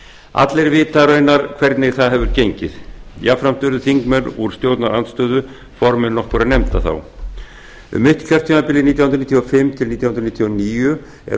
allir vita raunar hvernig það hefur gengið jafnframt urðu þá þingmenn úr stjórnarandstöðu formenn nokkurra nefnda um mitt kjörtímabilið nítján hundruð níutíu og fimm til nítján hundruð níutíu og níu er